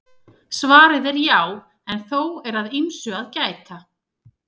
Svarið er já en þó er að ýmsu að gæta.